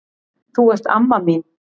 Þú ert amma mín.